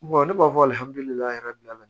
ne b'a fɔ